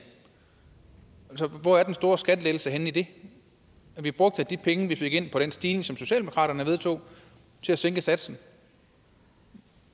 hvor er den store skattelettelse henne i det vi brugte de penge vi fik ind på den stigning som socialdemokraterne vedtog til at sænke satsen